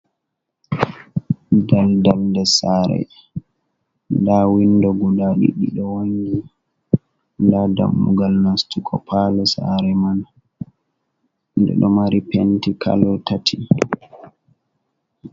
Daldal nder saare, ndaa winndo guda ɗiɗi ɗo wanngi, ndaa dammugal nastugo paalo saare man, nde ɗo mari penti kalo tati.